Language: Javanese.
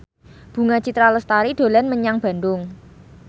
Bunga Citra Lestari dolan menyang Bandung